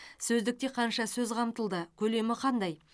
сөздікте қанша сөз қамтылды көлемі қандай